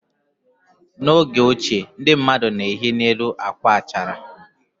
N'oge ochie ndị mmadụ na-ehi n'elu akwa achara.